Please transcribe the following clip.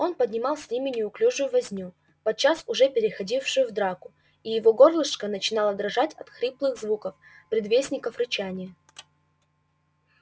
он поднимал с ними неуклюжую возню подчас уже переходившую в драку и его горлышко начинало дрожать от хриплых звуков предвестников рычания